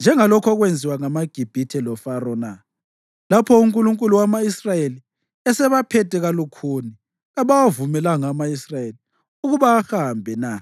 njengalokhu okwenziwa ngamaGibhithe loFaro na? Lapho unkulunkulu wama-Israyeli esebaphethe kalukhuni kabawavumelanga ama-Israyeli ukuba ahambe na?